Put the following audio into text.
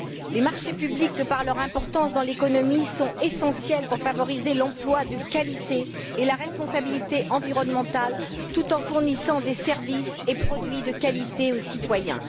Les marchés publics, de par leur importance dans l'économie, sont essentiels pour favoriser l'emploi de qualité et la responsabilité environnementale tout en fournissant des services et produits de qualité aux citoyens.